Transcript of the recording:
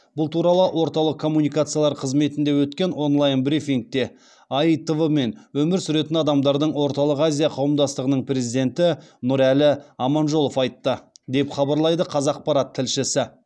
бұл туралы орталық коммуникациялар қызметінде өткен онлайн брифингте аитв мен өмір сүретін адамдардың орталық азия қауымдастығының президенті нұрәлі аманжолов айтты деп хабарлайды қазақпарат тілшісі